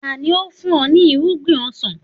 Tani ó fún ọ ní irúgbìn ọsàn?